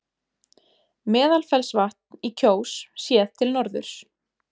Meðalfellsvatn í Kjós, séð til norðurs.